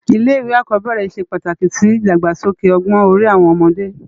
Ilé iwé ákòbèrè sé pátáki si idágbásóké ògbòn òri áwòn òmòdè